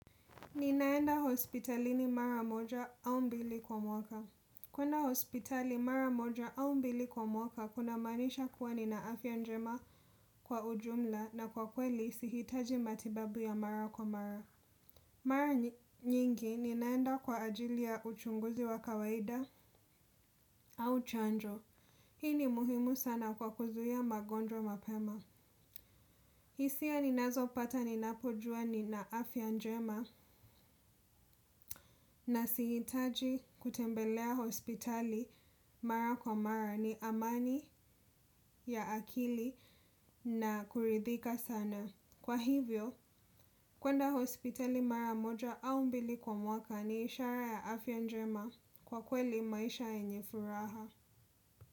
Ninaenda hospitalini mara moja au mbili kwa mwaka. Kwenda hospitali mara moja au mbili kwa mwaka kuna maanisha kuwa nina afya njema kwa ujumla na kwa kweli sihitaji matibabu ya mara kwa mara. Mara nyingi, ninaenda kwa ajili ya uchunguzi wa kawaida au chanjo. Hii ni muhimu sana kwa kuzuia magonjwa mapema. Hisia ninazopata ninapojua nina afya njema na sihitaji kutembelea hospitali mara kwa mara ni amani ya akili na kuridhika sana. Kwa hivyo, kwenda hospitali mara moja au mbili kwa mwaka ni ishara ya afya njema, kwa kweli maisha yenye furaha.